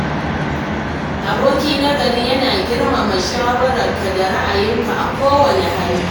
Aboki na gari yana girmama shawararka da ra’ayinka a kowane hali.